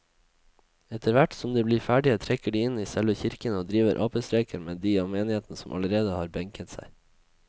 Etterthvert som de blir ferdige trekker de inn i selve kirken og driver apestreker med de av menigheten som allerede har benket seg.